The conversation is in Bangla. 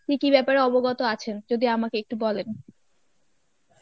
কী কী ব্যাপারে অবগত আছেন? যদি আমাকে একটু বলেন.